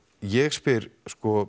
ég spyr